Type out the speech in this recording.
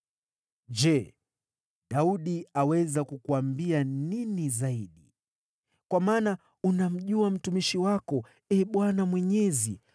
“Je, Daudi aweza kukuambia nini zaidi? Kwa maana unamjua mtumishi wako, Ee Bwana Mwenyezi.